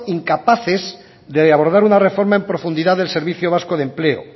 incapaces de abordar una reforma en profundidad del servicio vasco de empleo